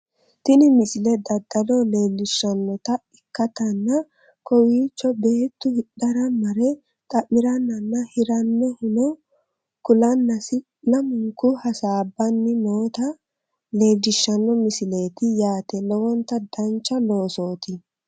tini msile daddalo leellishshannota ikkitanna kowiichono beettu hidhara mare xamirannanna hirannohuno kulannasi lamunku hasaabbanni noota leellishshanno msileeti yaate lowonta dancha loosooti